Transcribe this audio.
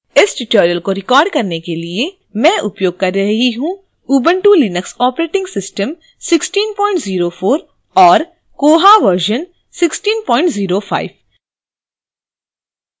इस tutorial को record करने के लिए मैं उपयोग कर रही हूँ ubuntu linux operating system 1604 और koha version 1605